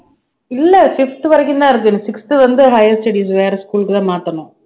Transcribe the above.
இல்லை fifth வரைக்கும் தான் இருக்கு sixth வந்து higher studies வேற school க்குதான் மாத்தணும்